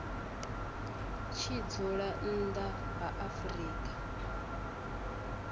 tshi dzula nnḓa ha afrika